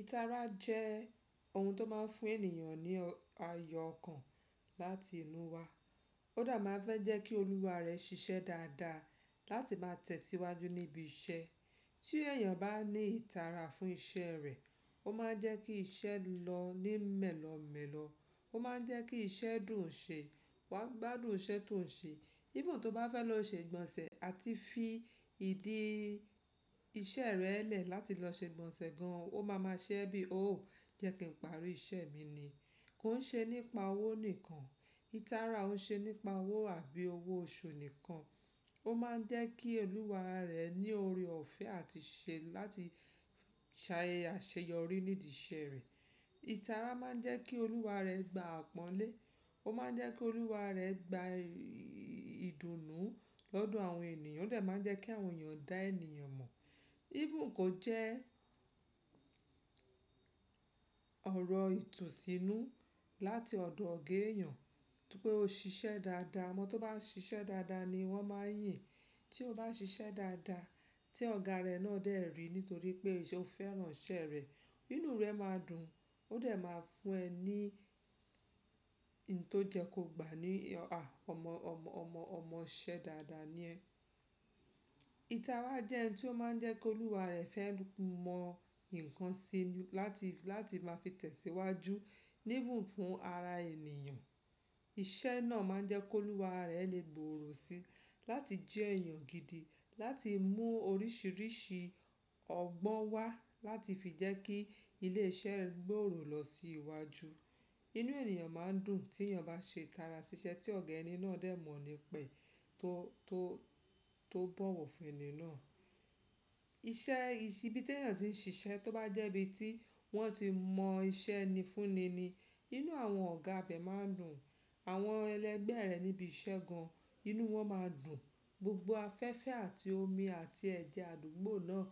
Ìtara jẹ́ ohun tó máa ń fún ènìyàn ní ayun ọkàn láti inú wa. Ó dà máa ń fẹ́ jẹ́ kí olúwa rẹ̀ ṣiṣẹ́ dáadáa láti máa tẹ̀síwájú níbi iṣẹ́. Tí èèyàn bá ní ìtara fún iṣẹ́ rẹ̀, ó máa ń jẹ́ kí iṣẹ́ lọ ní mẹ́lọ̀ọ́ mẹ́lọ̀ọ́. Ó máa ń jẹ́ kí iṣẹ́ dùn ṣe, wàá gbádùn iṣẹ́ tó ń ṣe. Even tó bá fẹ́ lọ ṣe ìgbọ̀nsẹ̀ àti fi ìdí iṣẹ́ rẹ lẹ́ẹ̀ láti lọ ṣe ìgbọ̀nsẹ̀ gan an, ó máa ma ṣe ẹ́ bí, “ò jẹ́ kí n parí iṣẹ́ mi ni”. Kò ń ṣe nípa owó nìkan. Ìtara òun ṣe nípa owó àbí owó oṣù nìkan. Ó máa ń jẹ́ kí olúwa rẹ ní ọrẹ ọ̀fẹ́ àti ṣe láti ṣà eṣe yọrí nídi iṣẹ́ rẹ̀. Ìtara máa ń jẹ́ kí olúwa rẹ gba àpọ́nlé. Ó máa ń jẹ́ kí olúwa rẹ gba ìdùnnú lọ́dọ̀ àwọn ènìyàn. Ó de máa ń jẹ́ kí àwọn èèyàn dá eniyàn mọ̀. Even kò jẹ́ ọ̀rọ̀ ìtùnsínú láti ọ̀dọ̀ ọ̀ga èèyàn. Tí pé o ṣiṣẹ́ dáadáa, ọmọ tó bá ṣiṣẹ́ dáadáa ni wọ́n máa n yìn. Tí o bá ṣiṣẹ́ dáadáa tí ọ̀gá rẹ náà dẹ̀ rí nítorí pé o fẹ́ràn iṣẹ́ rẹ, inú rẹ máa dùn. Ó dà máa fún ẹ ní n tó jẹ kó gbà ní, “à ọmọ, ọmọ, ọmọ, ọmọ ṣẹ́ dáadáa ni ẹ”. Ìtara jẹ́ ohun tí ó máa ń jẹ́ kí olúwa rẹ fẹ́ mọ nǹkan si láti, láti máa fi tẹ̀síwájú even fún ara èèyàn. Iṣẹ́ náà máa ń jẹ́ kí olúwa rẹ lè gbòòrò si láti jẹ́ èèyàn gidi, láti mú oríṣìíríṣìí ọgbọ́n wá láti fi jẹ́ kí ilé iṣẹ́ gbòòrò lọ sí iwájú. Inú èèyàn máa ń dùn tí èèyàn bá ṣe tara sí iṣẹ́ tí ọ̀gẹ́ ẹni náà dẹ̀ mọ̀ ní pẹ́ tó, tó, tó bọ̀wọ̀ fún ẹni náà. Iṣẹ ibi tí èèyàn ti ń ṣiṣẹ́ tó bá jẹ́ ibi tí wọ́n ti mọ iṣẹ́ eni ni fúnni ni, inú àwọn ọ̀gá be máa ń dùn. Àwọn ẹlẹgbẹ́ rẹ̀ níbi iṣẹ́ gan an, inú wọn máa dùn. Gbogbo afẹ́fẹ́ àti omi àti ẹ̀jẹ̀ àdúgbò náà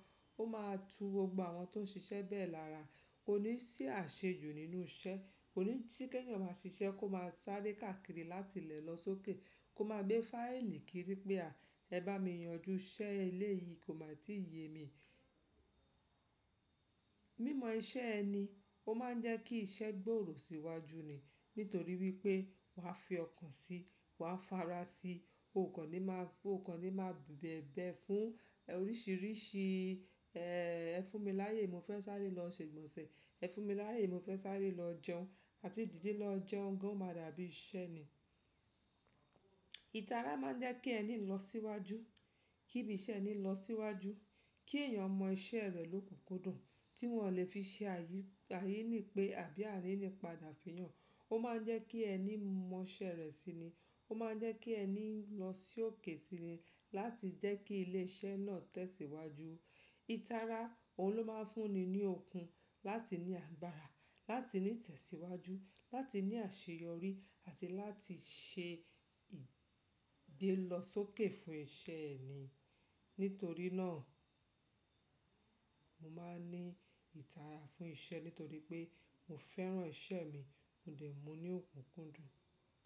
ó máa tú gbogbo àwọn ti o ṣiṣẹ́ bẹ́ẹ̀ lára. Kò ní ṣì àṣejù nínú iṣẹ́. Kò ní tí kí èèyàn máa ṣiṣẹ́ kó máa sáré káàkiri láti ilẹ̀ lọ sókè. Kó máa gbé fáìlì kiri pé, “à ẹ bá mi yanjú iṣẹ́ eleyi kò máa tí yẹ mi”. Mímọ iṣẹ́ ẹni ó máa ń jẹ́ kí iṣẹ́ gbòòrò sí iwájú ni nítorí wípé wà á fi ọkàn si, wà á fara sí, o kò ní má, o kò ní má bẹ̀bẹ̀ fún oríṣìíríṣìí ẹ́ fún mi láyé mo fẹ́ sáré lọ ṣe ìgbọ̀nsẹ̀, ẹ fún mi láyé mo fẹ́ sáré lọ jẹun àti dìde lọ jẹun gan an máa dàbí iṣẹ́ ni. Ìtara máa ń jẹ́ kí ẹni lọ síwájú, kí ibi iṣẹ́ ẹni lọ síwájú, kí èèyàn mọ iṣẹ́ rẹ̀ lókunkúndùn tí wọn lè fi ṣe àyí, àyí ní pé àbí àríní padà fiyàn. Ó máa ń jẹ́ kí ẹni mọ iṣẹ́ rẹ̀ sini. Ó máa ń jẹ́ kí ẹni lọ sókè sini láti jẹ́ kí ilé iṣẹ́ náà tẹ̀síwájú. Ìtara òun ló máa ń fúnni ní okun láti ní agbára, láti ní ìtẹ̀síwájú, láti ní àṣeyọrí àti láti ṣe ìgbé lọ sókè fún iṣẹ́ ẹni. Nítorí náà mo máa ń ní ìtara fún iṣẹ́ nítorí pé mo fẹ́ràn iṣẹ́ mi, mo de, mu ní òkunkúndùn.